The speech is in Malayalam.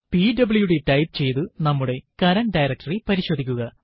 പിഡബ്ല്യുഡി ടൈപ്പ് ചെയ്തു നമ്മുടെ കറന്റ് ഡയറക്ടറി പരിശോധിക്കുക